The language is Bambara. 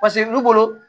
paseke olu bolo